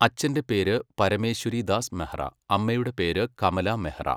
അച്ഛന്റെ പേര് പരമേശ്വരിദാസ് മെഹ്റ, അമ്മയുടെ പേര് കമല മെഹ്റ.